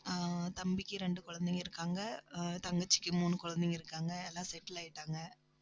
ஆஹ் தம்பிக்கு, ரெண்டு குழந்தைங்க இருக்காங்க அஹ் தங்கச்சிக்கு மூணு குழந்தைங்க இருக்காங்க, எல்லாம் settle ஆயிட்டாங்க